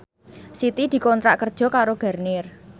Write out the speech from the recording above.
Siti dikontrak kerja karo Garnier